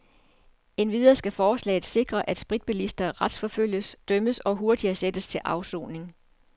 Endvidere skal forslaget sikre, at spritbilister retsforfølges, dømmes og hurtigere sættes til afsoning.